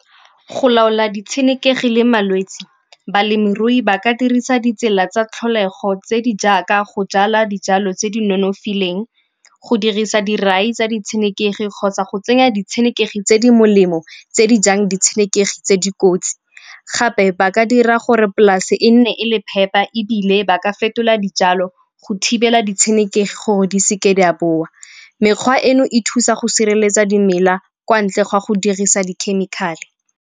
Go laola ditshenekegi le malwetsi, balemirui ba ka dirisa ditsela tsa tlholego tse di jaaka go jala dijalo tse di nonofileng, go dirisa dirai tsa ditshenekegi kgotsa go tsenya ditshenekegi tse di molemo tse di jang di tshenekegi tse dikotsi. Gape ba ka dira gore polase e nne e le phepa ebile ba ka fetola dijalo go thibela ditshenekegi gore di seke di a boa. Mekgwa eno e thusa go sireletsa dimela kwa ntle ga go dirisa dikhemikhale.